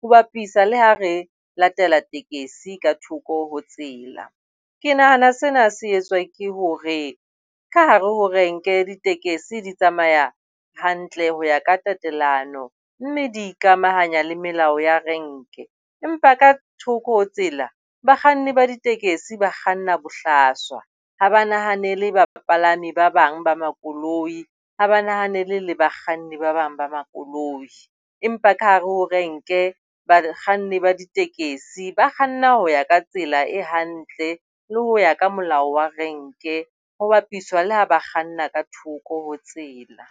ho bapiswa le ha re latela tekesi ka thoko ho tsela. Ke nahana sena se etswa ke hore ka hare ho renke ditekesi di tsamaya hantle ho ya ka tatellano mme di ikamahanya le melao ya renke. Empa ka thoko ho tsela bakganni ba ditekesi ba kganna bohlaswa. Ha ba nahanele ba bapalami ba bang ba makoloi. Ha ba nahanele le bakganni ba bang ba makoloi, empa ka hare ho renke bakganni ba ditekesi ba kganna ho ya ka tsela e hantle le ho ya ka molao wa renke ho bapiswa le ha ba kganna ka thoko ho tsela.